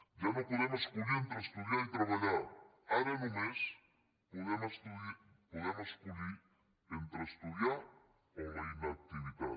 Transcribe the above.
ja no podem escollir entre estudiar i treballar ara només podem escollir entre estudiar o la inactivitat